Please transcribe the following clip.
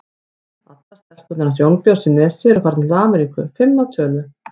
Allar stelpurnar hans Jónbjörns í Nesi eru farnar til Ameríku, fimm að tölu.